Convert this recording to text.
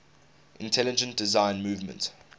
intelligent design movement